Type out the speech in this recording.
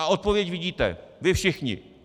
A odpověď vidíte vy všichni.